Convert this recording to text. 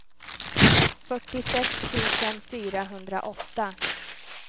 fyrtiosex tusen fyrahundraåtta